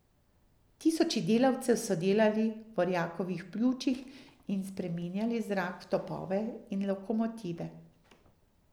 Tisoči delavcev so delali v orjakovih pljučih in spreminjali zrak v topove in lokomotive.